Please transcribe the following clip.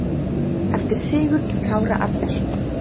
eftir Sigurð Kára Árnason